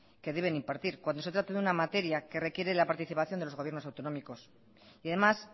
que deben impartir cuando se trata de una materia que requiere la participación de los gobiernos autonómicos y además